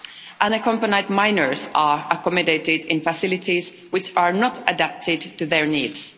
Unaccompanied minors are accommodated in facilities which are not adapted to their needs.